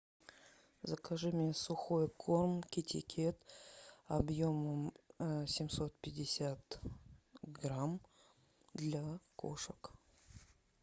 закажи мне сухой корм китикет объемом семьсот пятьдесят грамм для кошек